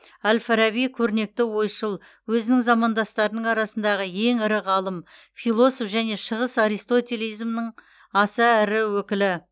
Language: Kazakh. әл фараби көрнекті ойшыл өзінің замандастарының арасындағы ең ірі ғалым философ және шығыс аристотелизмнің аса ірі өкілі